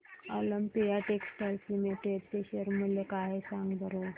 Olympia textiles limited चे share मूल्य काय आहे सांगा बरं